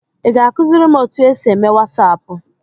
Ị ga-akụziri m otu esi eme wasaapụ?